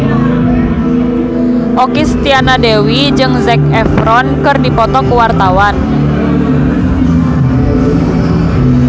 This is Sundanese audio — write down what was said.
Okky Setiana Dewi jeung Zac Efron keur dipoto ku wartawan